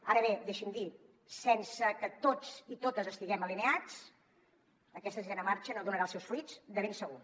ara bé deixi m’ho dir sense que tots i totes estiguem alineats aquesta sisena marxa no donarà els seus fruits de ben segur